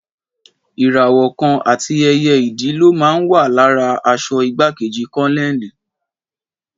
Ìràwọ̀ kan àti ẹyẹ Idì ló máa ń wà lára aṣọ igbákejì kólónẹ́ẹ̀lì.